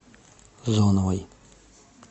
зоновой